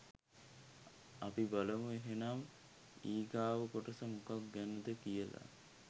අපි බලමු එහෙනම් ඊගාව කොටස මොකක් ගැනද කියලා